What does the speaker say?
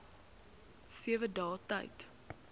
sewe dae tyd